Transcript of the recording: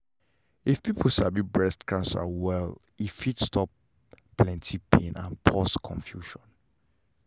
if people sabi breast cancer well well e fit stop plenty pain and pause confusion